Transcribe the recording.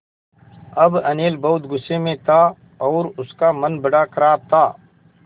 अब अनिल बहुत गु़स्से में था और उसका मन बड़ा ख़राब था